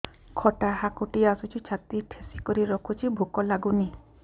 ଖଟା ହାକୁଟି ଆସୁଛି ଛାତି ଠେସିକରି ରଖୁଛି ଭୁକ ଲାଗୁନି